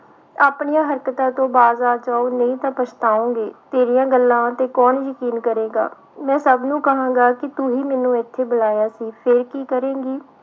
ਆਪਣੀਆਂ ਹਰਕਤਾਂ ਤੋਂ ਬਾਜ ਆ ਜਾਓ ਨਹੀਂ ਤਾਂ ਪਛਤਾਓਂਗੇ, ਤੇਰੀਆਂ ਗੱਲਾਂ ਤੇ ਕੌਣ ਯਕੀਨ ਕਰੇਗਾ, ਮੈਂ ਸਭ ਨੂੰ ਕਹਾਂਗਾ ਕਿ ਤੂੰ ਹੀ ਮੈਨੂੰ ਇੱਥੇ ਬੁਲਾਇਆ ਸੀ ਫਿਰ ਕੀ ਕਰੇਂਗੀ।